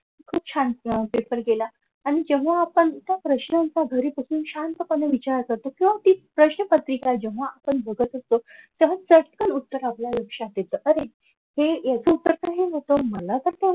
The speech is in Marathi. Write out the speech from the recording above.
खूप छान अह पेपर गेला आणि तेव्हा आपण त्या प्रश्नांचा घरी बसून शांतपणे विचार करतो किंवा ती प्रश्नपत्रिका आपण जेव्हा बघत असतो तेव्हा चटकन उत्तर आपल्या लक्षात येत अरे हे याच उत्तर तर हे नव्हतं मला तर